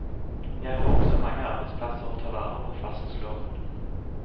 Jeg har også mange arbeidsplasser å ta vare på, fastslår hun.